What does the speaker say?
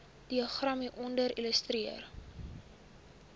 diagram hieronder illustreer